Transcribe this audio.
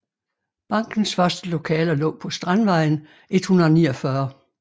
Bankens første lokaler lå på Strandvejen 149